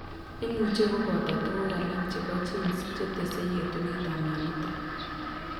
Imuche koboto tuguk alak chebo genes chetese yetunet ab myonitok